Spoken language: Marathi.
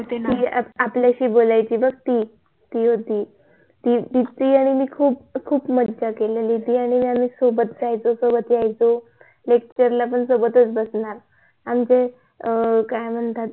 ती आपल्याशी बोलायची बघ ती ती होती ती आणि मी खूप खूप मजा केलेली होती ती आणि मी सोबत राहायचो सोबत यायचो LECTURE ला पण सोबत बसणार आमचं काय म्हणतात